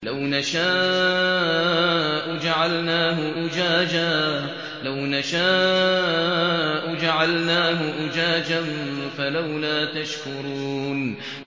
لَوْ نَشَاءُ جَعَلْنَاهُ أُجَاجًا فَلَوْلَا تَشْكُرُونَ